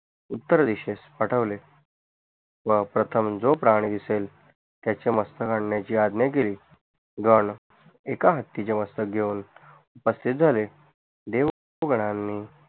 उत्तर दिशेस पाठवले व प्रथम जो प्राणी दिसेल त्याचे मस्तक आणण्याचे आज्ञा केली गण एका हत्तीचे मस्तक घेऊन उपस्तीत झाले देवगनाणी